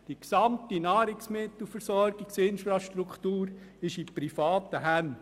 Die gesamte Nahrungsmittelversorgungsinfrastruktur befindet sich in privaten Händen.